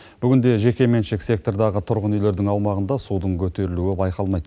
бүгінде жекеменшік сектордағы тұрғын үйлердің аумағында судың көтерілуі байқалмайды